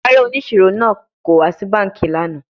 Rara, oniṣiro naa ko wa si banki lana